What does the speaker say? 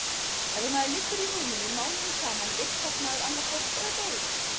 Ef maður liggur í rúminu mánuðum saman vitkast maður annaðhvort eða deyr.